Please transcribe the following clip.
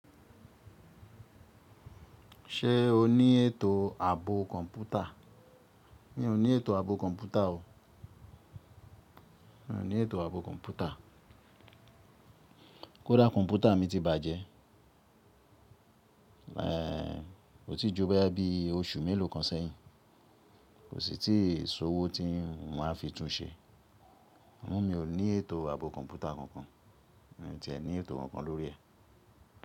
Ṣé o ní ètò ààbò kọ̀ǹpútà? Mi ò ní ètò ààbò kọ̀ǹpútà o. Mi ò ní ètò ààbò kọ̀ǹpútà. Kódà kọ̀ǹpútà mi ti bàjẹ́, è, ko ti ju boyá bí oṣù mélòó kan sẹ́yìn, kò sì tí ì sọ́ọ̀wọ́ tí n máa fi tún un ṣe. Amo mi ò ní ètò ààbò kọ̀ǹpútà kankan, mii tí ẹ ní ètò kankan lórí ẹ̀